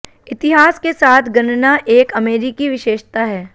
इतिहास के साथ गणना एक अमेरिकी विशेषता है